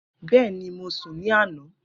Bẹẹni, Mo sun ni ana